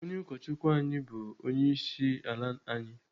Onye ụkọchukwu anyị bụ onyeisiala anyị.